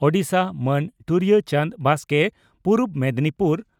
ᱳᱰᱤᱥᱟ) ᱢᱟᱱ ᱴᱩᱨᱩᱭᱟᱹ ᱪᱟᱸᱰᱽ ᱵᱟᱥᱠᱮ (ᱯᱩᱨᱩᱵ ᱢᱮᱫᱽᱱᱤᱯᱩᱨ